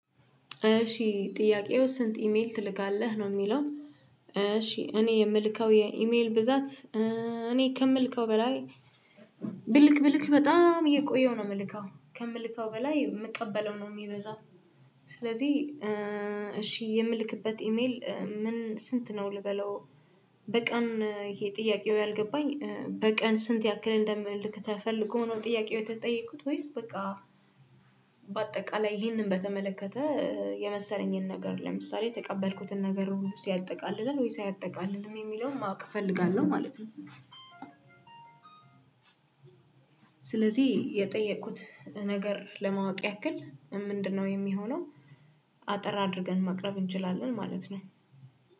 እሺ ጥያቄው ስንት ኢሜል ትልካለህ ነው? የሚለው እሺ እኔ የምልከው የኢሜል ብዛት እኔ ከምልከው በላይ ብልክ ብልክ በጣም እየቆየሁ ነው የምልከው ከምልከው በላይ የምቀበለው ነው የሚበዛው። ስለዚህ እሺ የምልክበት ኢሜል ምን ስንት ነው ልበለው? በቀን ይሄ ጥያቄው ያልገባኝ በቀን ስንት ያክል እንደምልክ ተፈልጎ ነው ጥያቄው የተጠየኩት ወይስ በቃ። በአጠቃላይ ይህንን በተመለከተ የመሰለኝን ነገር ለምሳሌ ተቀበልኩትን ነገር ሲያጠቃልል ወይ አያጠቃልልም የሚለውን ማወቅ እፈልጋለሁ ማለት ነው። ስለዚህ የጠየኩት ነገር ለማወቅ ያክል ምንድነው የሚሆነው? አጠር አድርገን ማቅረብ እንችላለን ማለት ነው